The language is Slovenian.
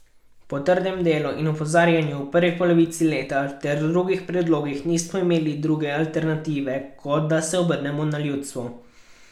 Po trdem delu in opozarjanju v prvi polovici leta ter drugih predlogih nismo imeli druge alternative kot, da se obrnemo na ljudstvo.